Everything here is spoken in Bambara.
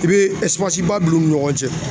I bɛ ba don u ni ɲɔgɔn cɛ